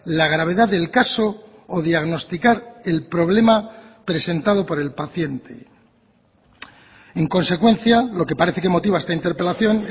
la gravedad del caso o diagnosticar el problema presentado por el paciente en consecuencia lo que parece que motiva esta interpelación